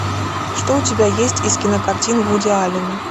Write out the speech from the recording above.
что у тебя есть из кинокартин вуди аллена